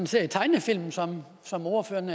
ser i tegnefilm som ordføreren